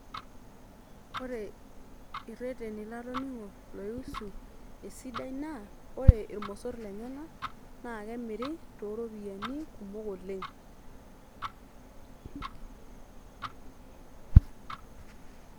Ore ireteni latoningo loihusu esidai naa ore irmosorr lenyenak naa kemiri toropiyiani kumok oleng.